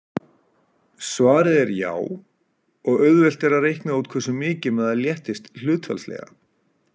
Svarið er já, og auðvelt er að reikna út hversu mikið maður léttist hlutfallslega.